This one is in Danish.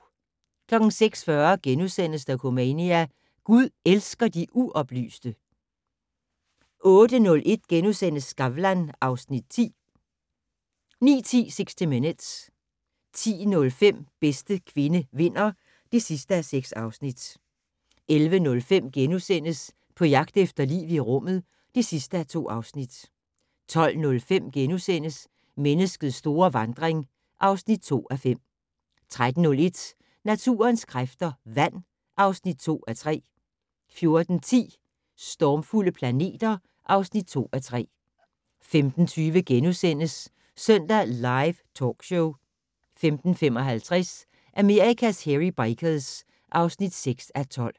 06:40: Dokumania: Gud elsker de uoplyste * 08:01: Skavlan (Afs. 10)* 09:10: 60 Minutes 10:05: Bedste kvinde vinder (6:6) 11:05: På jagt efter liv i rummet (2:2)* 12:05: Menneskets store vandring (2:5)* 13:01: Naturens kræfter - vand (2:3) 14:10: Stormfulde planeter (2:3) 15:20: Søndag Live Talkshow * 15:55: Amerikas Hairy Bikers (6:12)